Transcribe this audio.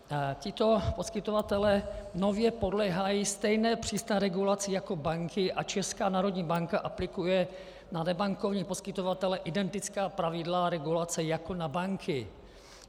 Tito poskytovatelé nově podléhají stejné přísné regulaci jako banky a Česká národní banka aplikuje na nebankovní poskytovatele identická pravidla regulace jako na banky.